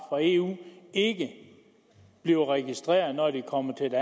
fra eu ikke bliver registreret når de kommer til